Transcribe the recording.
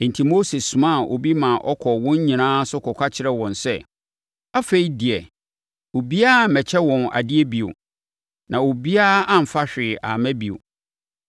Enti, Mose somaa obi ma ɔkɔɔ wɔn nyinaa so kɔka kyerɛɛ wɔn sɛ, afei deɛ, obiara mmɛkyɛ wɔn adeɛ bio. Na obiara amfa hwee amma bio.